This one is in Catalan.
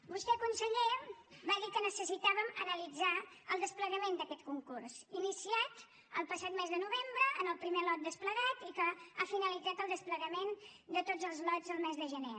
vostè conseller va dir que necessitàvem analitzar el desplegament d’aquest concurs iniciat el passat mes de novembre amb el primer lot desplegat i que ha finalitzat el desplegament de tots els lots al mes de gener